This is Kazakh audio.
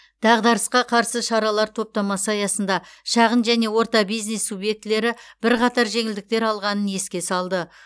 дағдарысқа қарсы шаралар топтамасы аясында шағын және орта бизнес субъектілері бірқатар жеңілдіктер алғанын еске салды